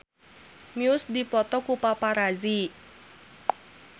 Muse dipoto ku paparazi